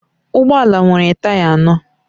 Ụgbọ ala nwere taya anọ